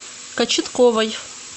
кочетковой